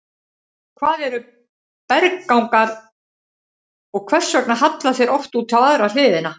Hvað eru berggangar og hvers vegna halla þeir oft út á aðra hliðina?